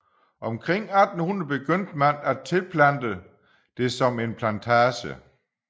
Omkring 1800 begyndte man at tilplante det som en plantage